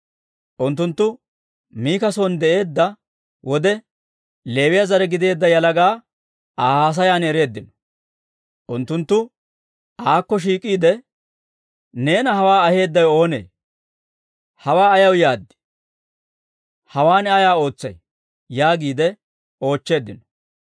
Unttunttu Mika son de'eedda wode, Leewiyaa zare gideedda yalaga Aa haasayan ereeddino. Unttunttu aakko shiik'iide, «Neena hawaa aheedawe oonee? Hawaa ayaw yaad? Hawaan ayaa ootsay?» yaagiide oochcheeddino.